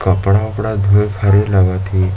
कपड़ा उपड़ा धोए के हरे लगत हे।